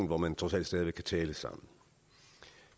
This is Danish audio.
hvor man trods alt stadig væk kan tale sammen